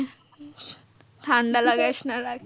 ঠান্ডা লাগাস না।